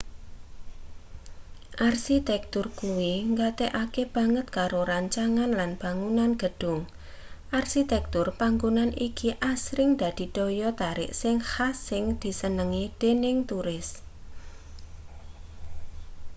arsitektur kuwi nggatekake banget karo rancangan lan bangunan gedhung arsitektur panggonan iki asring dadi daya tarik sing khas sing disenengi dening turis